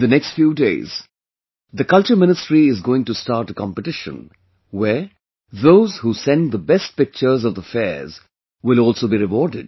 In the next few days, the Culture Ministry is going to start a competition, where, those who send the best pictures of the fairs will also be rewarded